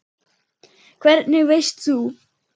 Hvernig veist þú.?